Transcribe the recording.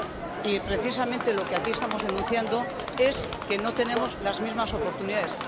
Y, precisamente, lo que aquí estamos denunciando es que no tenemos las mismas oportunidades.